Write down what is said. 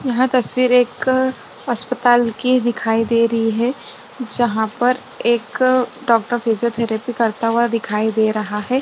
यहाँ तस्वीर एक अस्पताल की दिखाई दे रही है जहाँं पर एक डॉक्टर फिजियोथेरेपी करता हुआ दिखाई दे रहा है।